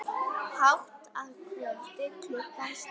Hátt að kvöldi klukkan slær.